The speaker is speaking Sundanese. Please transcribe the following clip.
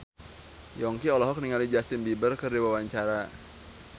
Yongki olohok ningali Justin Beiber keur diwawancara